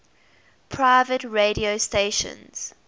private radio stations